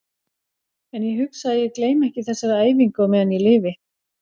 En ég hugsa að ég gleymi ekki þessari æfingu á meðan ég lifi.